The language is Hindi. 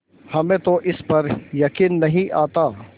हमें तो इस पर यकीन नहीं आता